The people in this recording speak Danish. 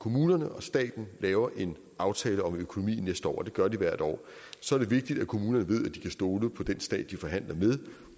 kommunerne og staten laver en aftale om økonomi næste år og det gør de hvert år så er det vigtigt at kommunerne ved at de kan stole på den stat de forhandler med